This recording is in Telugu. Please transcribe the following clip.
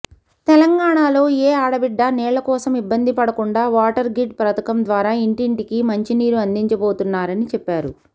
తెలంగాణలో ఏ ఆడబిడ్డ నీళ్లకోసం ఇబ్బంది పడకుండా వాటర్గ్రిడ్ పథకం ద్వారా ఇంటింటికీ మంచినీరు అందించబోతున్నారని చెప్పారు